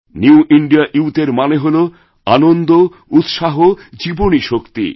new India youth এরমানে হল আনন্দ উৎসাহ জীবনীশক্তি